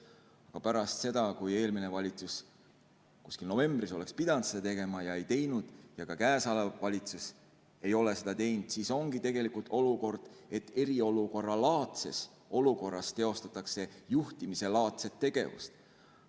Aga pärast seda, kui eelmine valitsus kuskil novembris oleks pidanud seda tegema, aga ei teinud, ja ka käesolev valitsus ei ole seda teinud, siis ongi tegelikult olukord, et eriolukorralaadses olukorras teostatakse juhtimislaadset tegevust.